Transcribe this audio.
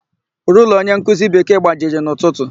Rula onyenkuzi Bekee gbajiri n'ụtụtụ.